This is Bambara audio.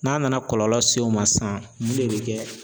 N'a nana kɔlɔlɔ se o ma sisan mun de bi kɛ?